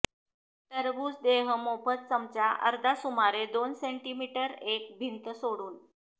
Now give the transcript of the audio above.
टरबूज देह मोफत चमचा अर्धा सुमारे दोन सेंटीमीटर एक भिंत सोडून